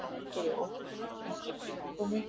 Af hverju er óhollt að kyngja tyggigúmmíi?